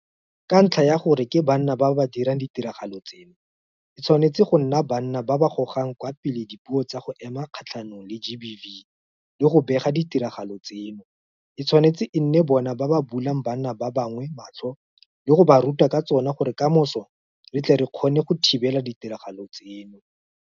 Ka ntlha ya gore ke banna ba ba dirang ditiragalo tseno, e tshwane go nna banna ba ba gogang kwa pele dipuo tsa go ema kgatlhanong le GBV le go bega ditiragalo tseno, e tshwanetse e nne bona ba ba bulang banna ba bangwe matlho le go ba ruta ka tsona gore kamoso re tle re kgona thibela ditiragalo tseno.